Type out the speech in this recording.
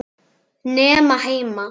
Nema heima.